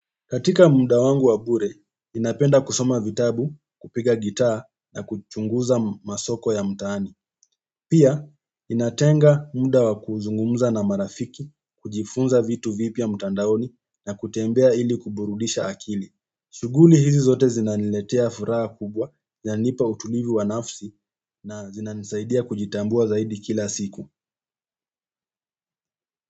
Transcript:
Katika muda wangu wa bure, ninapenda kusoma vitabu, kupiga gitaa na kuchunguza masoko ya mtaani. Pia, ninatenga muda wa kuzungumza na marafiki, kujifunza vitu vipya mtandaoni na kutembea ili kuburudisha akili shughuli hizi zote zinaniletea furaha kubwa, zinanipa utulivu wa nafsi na zinanisaidia kujitambua zaidi kila siku.